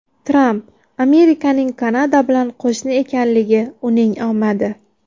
Tramp: Amerikaning Kanada bilan qo‘shni ekanligi uning omadi.